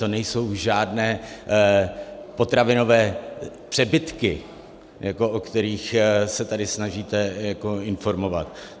To nejsou žádné potravinové přebytky, o kterých se tady snažíte informovat.